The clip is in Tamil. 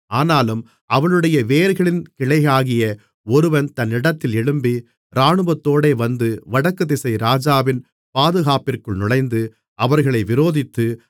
ஆனாலும் அவளுடைய வேர்களின் கிளையாகிய ஒருவன் தன் இடத்தில் எழும்பி இராணுவத்தோடே வந்து வடக்குதிசை ராஜாவின் பாதுகாப்பிற்குள் நுழைந்து அவர்களை விரோதித்து